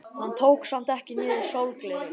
Hann tók samt ekki niður sólgleraugun.